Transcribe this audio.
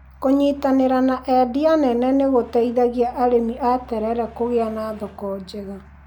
Kũnyitanĩra na endia nene nĩ gũteithagia arĩmi a terere kũgĩa na thoko njega.